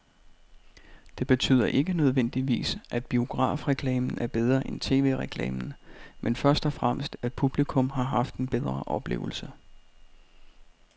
Det betyder ikke nødvendigvis, at biografreklamen er bedre end tv-reklamen, men først og fremmest at publikum har haft en bedre oplevelse.